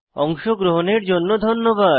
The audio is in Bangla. অংশগ্রহণের জন্য ধন্যবাদ